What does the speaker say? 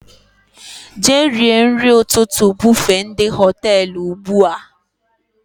Jee rie nri ụtụtụ bufe ndị Họtelụ ugbua!